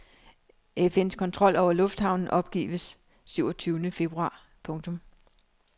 FNs kontrol over lufthavnen opgives syv og tyvende februar. punktum